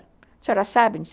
A senhora sabe